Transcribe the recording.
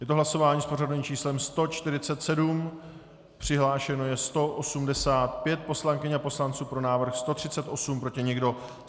Je to hlasování s pořadovým číslem 147, přihlášeno je 185 poslankyň a poslanců, pro návrh 138, proti nikdo.